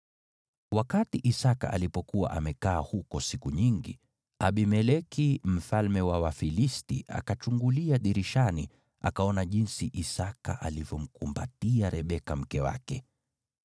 Wakati Isaki alipokuwa amekaa huko siku nyingi, Abimeleki mfalme wa Wafilisti akachungulia dirishani, akaona jinsi Isaki alivyomkumbatia Rebeka mke wake.